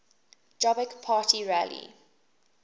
jobbik party rally